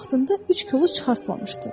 O vaxtında üç kolu çıxartmamışdı.